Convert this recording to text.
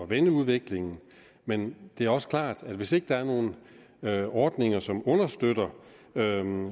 vende udviklingen men det er også klart at hvis ikke der er nogen ordninger som understøtter